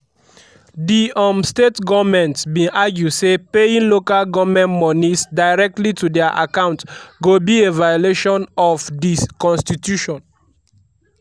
di um state goments bin argue say paying local goment monies directly to dia accounts go be a violation of di constitution.